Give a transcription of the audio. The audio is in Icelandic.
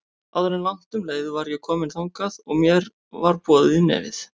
Áður en langt um leið var ég komin þangað og mér var boðið í nefið.